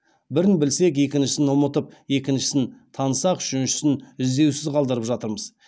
бірін білсек екіншісін ұмытып екіншісін танысақ үшіншісін іздеусіз қалдырып жатырмыз